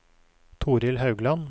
Toril Haugland